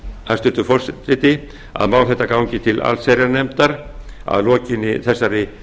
hæstvirtur forseti að mál þetta gangi til allsherjarnefndar að lokinni þessari fyrstu umræðu